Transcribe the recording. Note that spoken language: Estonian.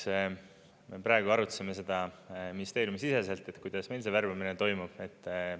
Eks see, praegu arutasime seda ministeeriumisiseselt, kuidas meil see värvamine toimub.